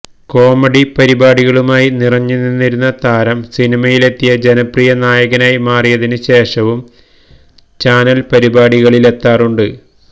comedy പരിപാടികളുമായി നിറഞ്ഞുനിന്നിരുന്ന താരം സിനിമയിലെത്തിയ ജനപ്രിയ നായകനായി മാറിയതിന് ശേഷവും ചാനല് പരിപാടികളിലേക്കെത്താറുണ്ട്